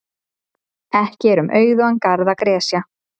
Ekki er um auðugan garð að gresja.